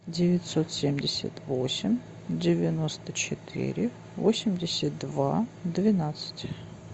девятьсот семьдесят восемь девяносто четыре восемьдесят два двенадцать